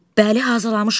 Bəli, hazırlamışam.